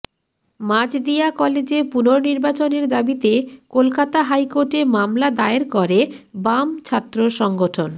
মাজদিয়া কলেজে পূর্ণনির্বাচনের দাবিতে কলকাতা হাইকোর্টে মামলা দায়ের করে বাম ছাত্র সংগঠন